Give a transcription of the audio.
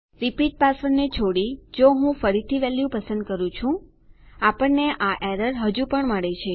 repeat પાસવર્ડને છોડી જો હું ફરીથી વેલ્યુ પસંદ કરું છું આપણને આ એરર હજુ પણ મળે છે